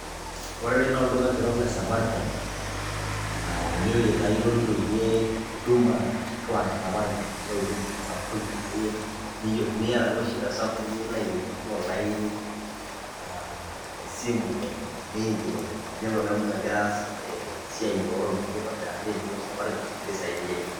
Ore ene naa olduka kitok le safaricom ene wueji taa ilo nitumie huduma kituak e safaricom ashu huduma sapukin akeyie, teniyata duo shida sapuk anaa teniyeu nilo aikilikuanu olaini, esimu enelo neeku megira aas esia o ropiani aitobiraki nilo safaricom nikisaidiai.